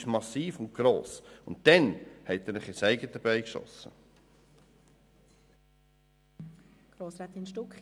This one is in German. Dann haben Sie sich ins eigene Fleisch geschnitten.